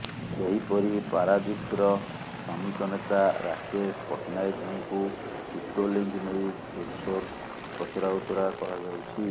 ସେହିପରି ପାରାଦୀପର ଶ୍ରମିକ ନେତା ରାକେଶ ପଟ୍ଟନାୟକଙ୍କୁ ଟିଟୋ ଲିଙ୍କ୍ ନେଇ ଜୋର୍ସୋର୍ ପଚରାଉଚରା କରାଯାଉଛି